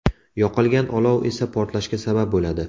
Yoqilgan olov esa portlashga sabab bo‘ladi.